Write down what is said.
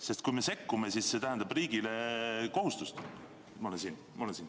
Sest kui me sekkume, siis see tähendab riigile kohustust.